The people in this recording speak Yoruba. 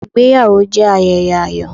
Ìgbéyàwó jẹ́ ayẹyẹ ayọ̀.